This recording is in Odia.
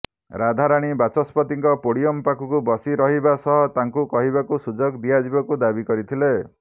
ରାଧାରାଣୀ ବାଚସ୍ପତିଙ୍କ ପୋଡିୟମ ପାଖକୁ ବସି ରହିବା ସହ ତାଙ୍କୁ କହିବାକୁ ସୁଯୋଗ ଦିଆଯିବାକୁ ଦାବି କରିଥିଲେ